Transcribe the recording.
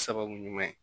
Sababu ɲuman ye